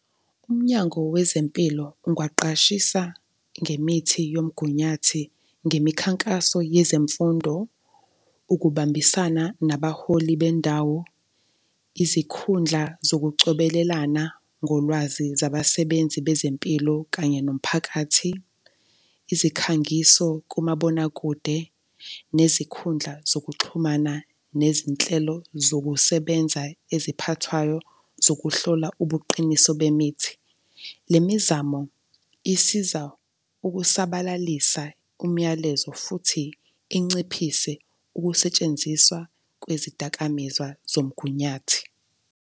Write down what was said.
Umnyango wezempilo ungwaqashisa ngemithi yomgunyathi ngemikhankaso yezemfundo, ukubambisana nabaholi bendawo, izikhundla zokucobelelana ngolwazi zabasebenzi bezempilo kanye nomphakathi, izikhangiso kumabonakude, nezikhundla zokuxhumana, nezinhlelo zokusebenza eziphathwayo zokuhlola ubuqiniso bemithi. Le mizamo isiza ukusabalalisa umyalezo futhi inciphise ukusetshenziswa kwezidakamizwa zomgunyathi.